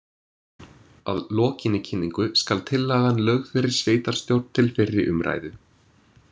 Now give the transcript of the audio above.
Að lokinni kynningu skal tillagan lögð fyrir sveitarstjórn til fyrri umræðu.